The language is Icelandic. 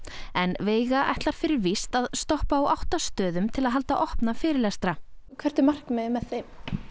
en veiga ætlar fyrir víst að stoppa á átta stöðum til að halda opna fyrirlestra hvert er markmiðið með þeim